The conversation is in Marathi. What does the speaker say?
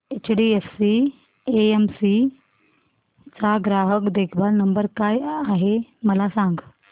एचडीएफसी एएमसी चा ग्राहक देखभाल नंबर काय आहे मला सांग